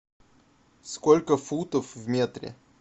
сколько футов в метре